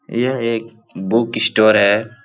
यह एक book store है ।